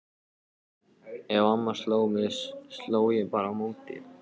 Ef mamma sló mig sló ég bara á móti.